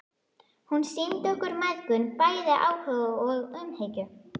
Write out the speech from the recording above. Hún sýndi okkur mæðgum bæði áhuga og umhyggju.